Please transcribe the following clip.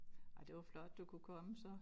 Ej det var flot du kunne komme så